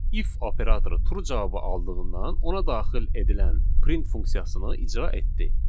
If operatoru true cavabı aldığından ona daxil edilən print funksiyasını icra etdi.